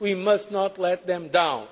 We must not let them